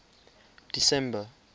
december